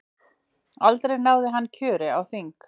aldrei náði hann þó kjöri á þing